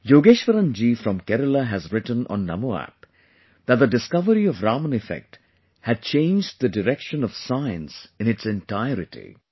Yogeshwaran ji from Kerala has written on NamoApp that the discovery of Raman Effect had changed the direction of science in its entirety